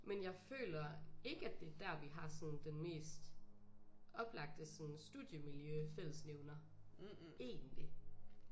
Men jeg føler ikke at det er der vi har sådan den mest oplagte sådan studiemiljø fællesnævner egentlig